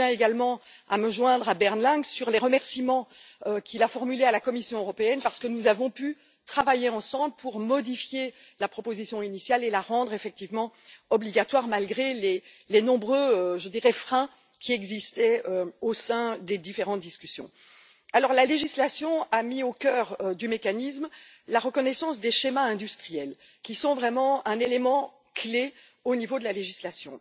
Je tiens également à me joindre à Bernd Lange sur les remerciements qu'il a formulés à l'intention de la Commission européenne, parce que nous avons pu travailler ensemble pour modifier la proposition initiale et la rendre effectivement obligatoire, malgré les nombreux freins qui existaient au sein des différentes discussions. La législation a mis au cœur du mécanisme la reconnaissance des schémas industriels, qui sont vraiment un élément clé au niveau de la législation.